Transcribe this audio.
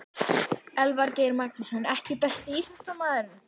Elvar Geir Magnússon EKKI besti íþróttafréttamaðurinn?